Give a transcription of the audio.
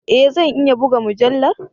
E! Zan iya buga mujallar.